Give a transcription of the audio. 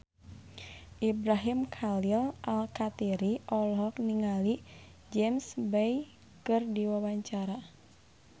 Ibrahim Khalil Alkatiri olohok ningali James Bay keur diwawancara